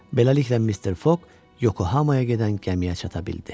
Beləliklə, Mister Fogg Yokohamaya gedən gəmiyə çata bildi.